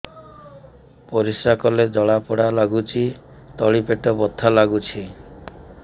ପରିଶ୍ରା କଲେ ଜଳା ପୋଡା ଲାଗୁଚି ତଳି ପେଟ ବଥା ଲାଗୁଛି